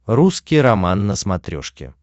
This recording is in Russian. русский роман на смотрешке